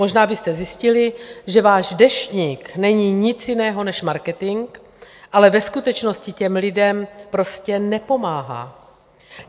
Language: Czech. Možná byste zjistili, že váš Deštník není nic jiného než marketing, ale ve skutečnosti těm lidem prostě nepomáhá.